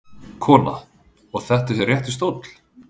Kona: Og þetta er réttur stóll?